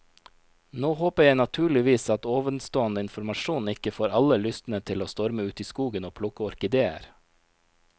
Nå håper jeg naturligvis at ovenstående informasjon ikke får alle lystne til å storme ut i skogen og plukke orkideer.